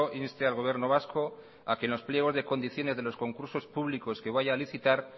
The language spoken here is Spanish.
inste al gobierno vasco a que en los pliegos de condiciones de los concursos públicos que vaya a licitar